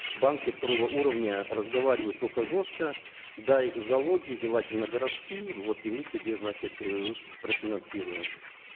банки второго уровня разговаривают только жестко дай залоги желательно городские вот и мы тебе значит э профинансируем